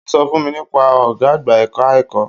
Ó sọ fún mi nípa ọ̀gá àgbà ẹ̀ka-ẹ̀kọ́.